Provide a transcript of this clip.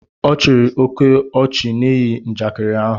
Ọ chịrị oke ọchị n'ihi njakịrị ahu